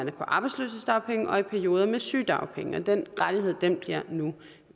er på arbejdsløshedsdagpenge og i perioder med sygedagpenge den rettighed bliver nu